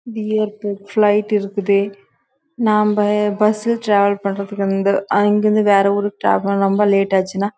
இது ஜூ மாரி இருக்குது இங்க எலாம் ப்ரிரணி வச்சிருக்காங்க அதுக்கு வேண்டிய சாப்பாடு என சாப்புடுதோ அது லாம் குடுத்துட்டு இருக்குறாங்க